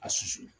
A susu